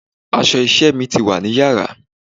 Aṣọ iṣẹ́ mi wá ní Yàrá.